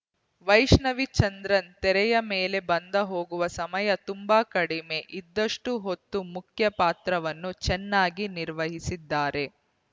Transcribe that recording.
ವೈಷ್ಣವಿ ಚಂದ್ರನ್‌ ತೆರೆಯ ಮೇಲೆ ಬಂದ ಹೋಗುವ ಸಮಯ ತುಂಬಾ ಕಡಿಮೆ ಇದ್ದಷ್ಟುಹೊತ್ತು ಮುಖ್ಯ ಪಾತ್ರವನ್ನು ಚೆನ್ನಾಗಿ ನಿರ್ವಹಿಸಿದ್ದಾರೆ